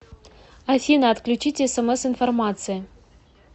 афина отключите смс информации